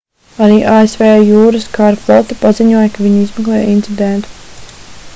arī asv jūras kara flote paziņoja ka viņi izmeklē incidentu